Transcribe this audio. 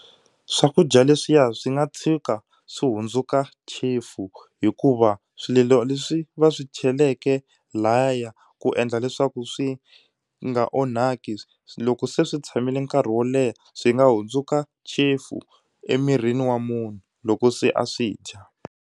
Swakudya leswiya swi nga tshuka swi hundzuka chefu hikuva swilo leswi va swi cheleke laya ku endla leswaku swi nga onhaki loko se swi tshamile nkarhi wo leha swi nga hundzuka chefu emirini wa munhu loko se a swi dya.